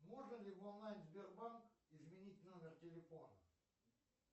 можно ли в онлайн сбербанк изменить номер телефона